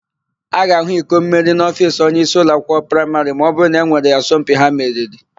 A ga-ahụ ikommeri n'ofiisi onyeisi ụlọakwụkwọ praịmarị ma ọbụrụ na e nwere asọmpi ha meriri.